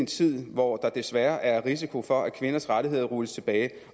tid hvor der desværre er risiko for at kvinders rettigheder rulles tilbage